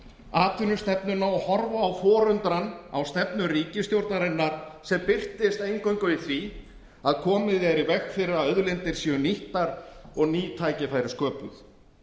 atvinnustefnuna og horfa í forundran á stefnu ríkisstjórnarinnar sem birtist eingöngu í því að komið er í veg fyrir að auðlindir séu nýttar og ný tækifæri sköpuð